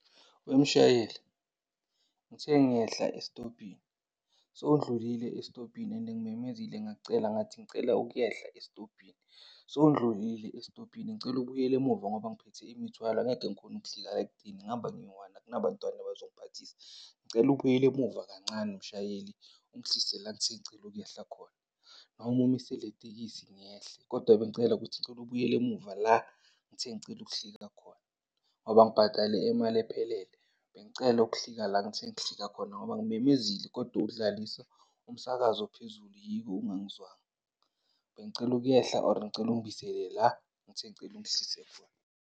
Weshayeli ngithe ngiyehla esitobhini sewudlulile esitobhini and ngimemezile ngakucela ngathi ngicela ukuyehla esitobhini. Sewundlulile esitobhini ngicela ubuyele emuva ngoba ngiphethe imithwalo angeke ngikhone ukuhlika la ekudeni, ngihamba ngiyi-one akunabantwana abazongiphathisa. Ngicela ubuyele emuva kancane mshayeli ungihlise la engithe ngicela ukuyehla khona, noma umise le tekisi ngiyehle. Kodwa bengicela ukuthi ngicela ubuyele emuva la engithe ngicela ukuhlika khona ngoba ngibhatale imali ephelele. Bengicela ukuhlika la engithe ngihlika khona ngoba ngimemezile kodwa udlalisa umsakazo phezulu yiko ungangizwanga. Bengicela ukuyehla, or ngicela ungibuyisele la engithe ngicela ungihlise khona.